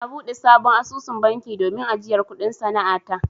Na buɗe sabon asusun banki domin ajiyar kuɗin sana'a ta.